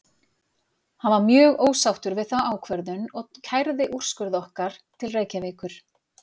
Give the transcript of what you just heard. Hann var mjög ósáttur við þá ákvörðun og kærði úrskurð okkar til Reykjavíkur.